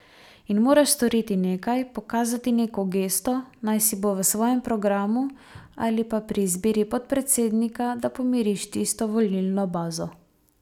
In moraš storiti nekaj, pokazati neko gesto, naj si bo v svojem programu ali pa pri izbiri podpredsednika, da pomiriš tisto volilno bazo.